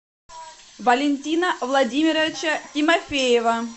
валентина владимировича тимофеева